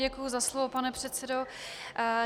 Děkuji za slovo, pane předsedo.